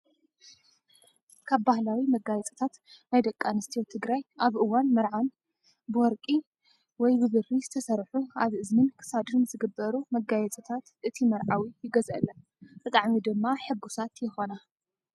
ካብ ባህላዊ መጋየፅታት ናይ ደቂ ኣንስትዮ ትግራይ ኣብ እዋን መርዓዓን ብወርቂ ወይ ብብሪ ዝተሰርሑ ኣብ እዝንን ክሳድን ዝግበሩ መጓየፅታት እቲ መርዓዊ ይገዝአለን። ብጣዕሚ ድማ ሕጉሳት ይኾና።